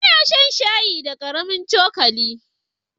Ina shan shayi da karamin cokali.